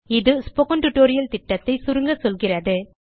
இது spoken tutorial திட்டத்தை சுருங்க சொல்கிறது